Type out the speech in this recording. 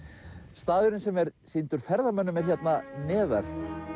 staðurinn sem er sýndur ferðamönnum er hérna neðar